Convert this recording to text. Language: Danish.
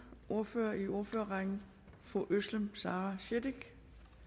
ordfører i ordførerrækken fru özlem sara cekic